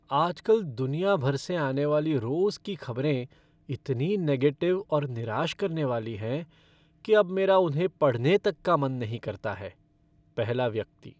आजकल दुनिया भर से आने वाली रोज़ की खबरें इतनी नेगेटिव और निराश करने वाली हैं कि अब मेरा उन्हें पढ़ने तक का मन नहीं करता है। पहला व्यक्ति